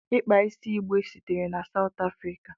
Ịkpa isi igbe sitere na mba Sout Afrika.